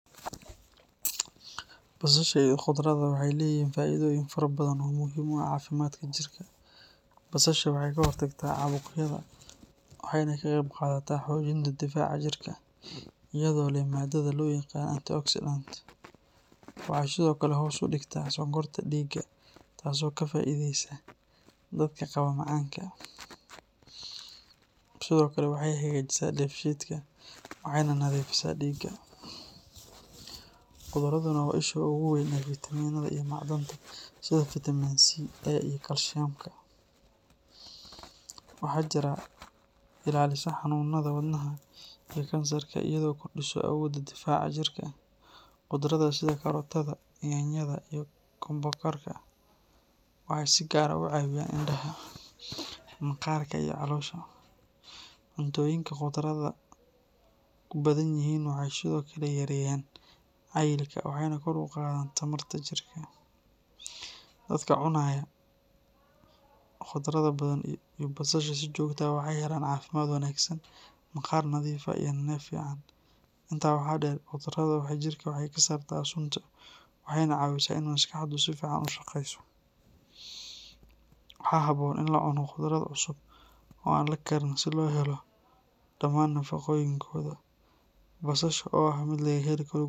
Basasha iyo khudradda waxay leeyihiin faa’iidooyin fara badan oo muhiim u ah caafimaadka jirka. Basasha waxay ka hortagtaa caabuqyada waxayna ka qeyb qaadataa xoojinta difaaca jirka iyadoo leh maadada loo yaqaan antioxidant. Waxay sidoo kale hoos u dhigtaa sonkorta dhiigga taasoo ka faa’iideysa dadka qaba macaanka. Sidoo kale, waxay hagaajisaa dheefshiidka waxayna nadiifisaa dhiigga. Khudradduna waa isha ugu weyn ee fitamiinada iyo macdanta sida fitamiin C, fitamiin A, iyo kaalshiyamka. Waxay jirka ka ilaalisaa xanuunada wadnaha iyo kansarka iyadoo kordhisa awoodda difaaca jirka. Khudradda sida kaarootada, yaanyada, iyo kookombarka waxay si gaar ah u caawiyaan indhaha, maqaarka, iyo caloosha. Cuntooyinka khudradda ku badan yihiin waxay sidoo kale yareeyaan cayilka waxayna kor u qaadaan tamarta jirka. Dadka cunaya khudradda badan iyo basasha si joogto ah waxay helaan caafimaad wanaagsan, maqaar nadiif ah, iyo neef fiican. Intaa waxaa dheer, khudradda waxay jirka ka saartaa sunta waxayna caawisaa in maskaxdu si fiican u shaqeyso. Waxaa habboon in la cuno khudrad cusub oo aan la karin si loo helo dhammaan nafaqooyinkooda. Basasha, oo ah mid laga heli karo.